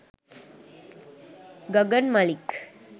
gagan malik